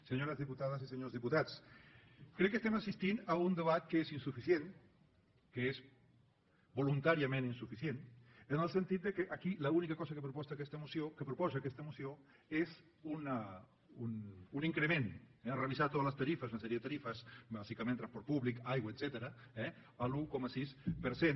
senyores diputades i senyors diputats crec que estem assistint a un debat que és insuficient que és voluntàriament insuficient en el sentit que aquí l’única cosa que proposa aquesta moció és un increment eh revisar totes les tarifes una sèrie de tarifes bàsicament transport públic aigua etcètera a l’un coma sis per cent